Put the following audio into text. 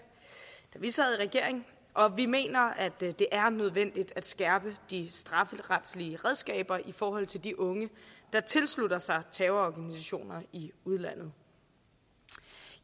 vi sad i regering og vi mener det det er nødvendigt at skærpe de strafferetlige redskaber i forhold til de unge der tilslutter sig terrororganisationer i udlandet